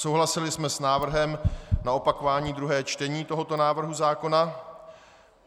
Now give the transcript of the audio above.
Souhlasili jsme s návrhem na opakování druhého čtení tohoto návrhu zákona.